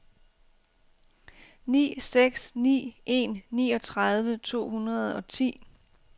ni seks ni en niogtredive to hundrede og ti